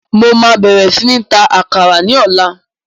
Mo máa bẹ̀rẹ̀ sí ní ń ta àkàrà ní ọ̀la